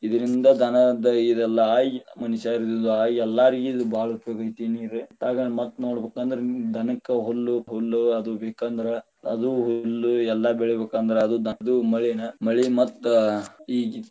ಇದ್ರಿಂದ ದನದ ಇದ ಎಲ್ಲಾ ಆಗಿ ಮನಿಷ್ಯರಾದ ಇದು ಆಗಿ ಎಲ್ಲರಿಗೂ ಇದ ಬಾಳ ಉಪಯೋಗ ಐತಿ ನೀರ, ಅದ್ರಾಗ ಮತ್ತ ನೋಡಬೇಕಂದ್ರ ದನಕ್ಕ ಹುಲ್ಲು ಪಲ್ಲು ಹುಲ್ಲು ಅದು ಬೇಕಂದ್ರ ಅದು ಹುಲ್ಲು ಎಲ್ಲಾ ಬೆಳಿಬೇಕಂದ್ರ ಅದು ಮಳಿನ ಮಳಿ ಮತ್ತ ಈಗ್.